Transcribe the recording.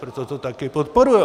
Proto to také podporují.